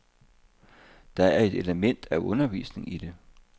Der er et element af undervisning i det.